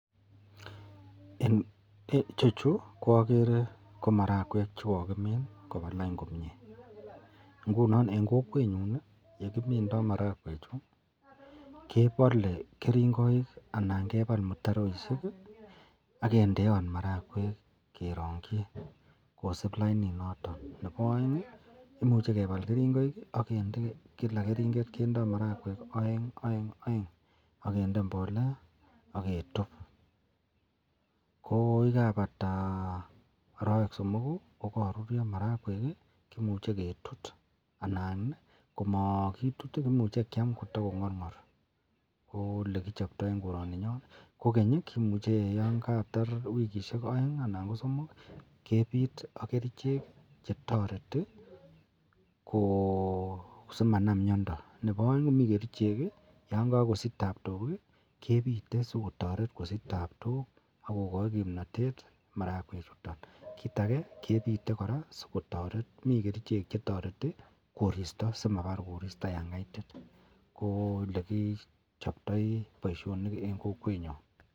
Ichechu koagere komarakwek chekakimin kobalain komie ngunon en Kokwenyun yekimindo marakwek chuton kebale keringonik agebal mutaroishek agendeot marakwek kerongi kosib lainit noton Nebo aeng koimuche kebal keringonik agende kila keringet kendoi marakwek aeng, aeng, aengu akende mbolea agetub ako yekabata arawek somoku kokarurio marakwek akemuche ketut anan komakitut komuche Kiam kotakongarngar ko yelekichootoi en koraninyon kogeny kemuche yikatar wikishek aeng anan ko somok koyache kebit agerchek chetareti kosimanam miando Nebo aeng komiten kerchek chekakosich tabtok kebute sikotaret akogai kimnatet en ireyu to ako kit age koraa sikotaret komiten kerchek chetareti en koristo simatar koristo yangaitit koyelekichoptoi baishoni en kokwenyon